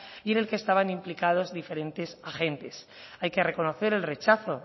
y en el que estaban implicados diferentes agentes hay que reconocer el rechazo